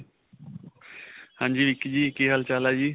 ਹਾਂਜੀ ਵਿੱਕੀ ਜੀ, ਕੀ ਹਾਲ-ਚਾਲ ਹੈ ਜੀ?